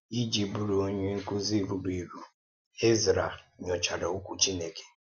Iji bụrụ onye nkụ́zi ruru eru, Ezrā nyòchàrà Okwu Chineke.